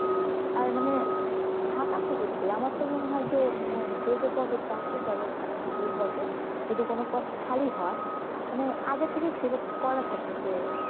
আর মানে, ফাঁকা থাকে এগুলি, আমার তো মনে হয় যে মানে যে যে পদের চাকরি করে, ভালো ভালো পদে, যদি কোনো পদ খালি হয়, মানে আগে থেকেই select করা থাকে যে